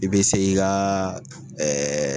I bɛ se i ka